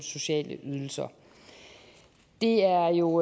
sociale ydelser det er jo